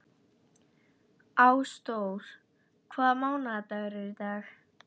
Ásdór, hvaða mánaðardagur er í dag?